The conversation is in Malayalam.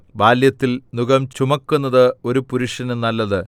ബാല്യത്തിൽ നുകം ചുമക്കുന്നത് ഒരു പുരുഷന് നല്ലത്